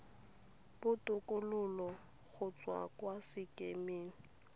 botokololo go tswa kwa sekemeng